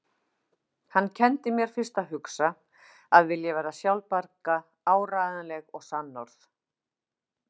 Hann kenndi mér fyrst að hugsa, að vilja vera sjálfbjarga, áreiðanleg og sannorð.